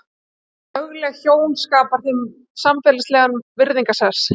Að vera lögleg hjón skapar þeim samfélagslegan virðingarsess.